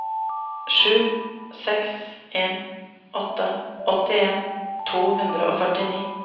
sju seks en åtte åttien to hundre og førtini